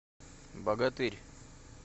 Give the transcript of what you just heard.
богатырь